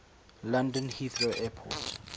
london heathrow airport